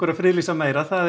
að friðlýsa meira það er